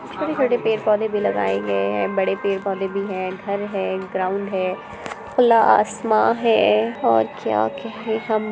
छोटे-छोटे पेड़-पौधे भी लगाए गए हैं बड़े पेड़-पौधे भी हैं घर है ग्राउंड है खुला आसमा है और क्या कहे हम--